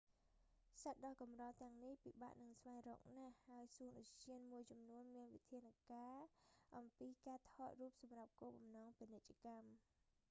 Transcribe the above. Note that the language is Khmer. សត្វដ៏កម្រទាំងនេះ ពិបាកនឹងស្វែងរកណាស់ ហើយសួនឧទ្យានមួយចំនួនមានវិធានការអំពីការថតរូបសម្រាប់គោលបំណងពាណិជ្ជកម្ម